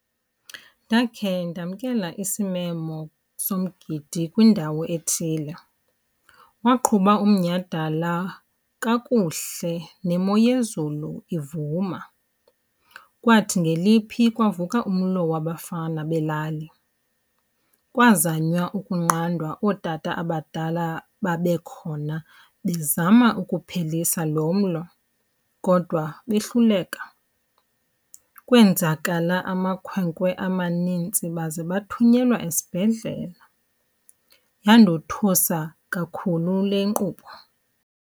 Ndakhe ndamkela isimemo somgidi kwindawo ethile. Waqhuba umnyhadala kakuhle nemo yezulu ivuma. Kwathi ngeliphi kwavuka umlo wabafana belali. Kwazanywa ukunqandwa ootata abadala babekhona bezama ukuphelisa lo mlo kodwa behluleka. Kwenzakala amakhwenkwe amanintsi baze bathunyelwa esibhedlela. Yandothusa kakhulu le nkqubo.